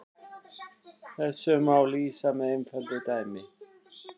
Þessu má lýsa með einföldu dæmi.